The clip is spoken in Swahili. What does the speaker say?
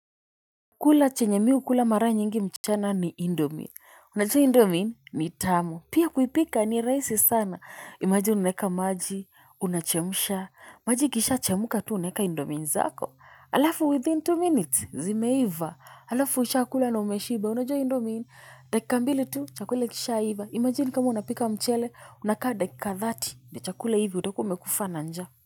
Kula chenye mi hukula mara nyingi mchana ni indomie unajua indomie ni tamu pia kuipika ni rahisi sana imagine unaeka maji unachemsha maji ikisha chemka tu unaeka indomie zako alafu within two minutes zimeiva alafu ushakula na umeshiba unajua indomie dakika mbili tu chakule ikishaiva imagine kama unapika mchele unakaa dakika thirty ndio chakula iive utakuwa umekufa na njaa.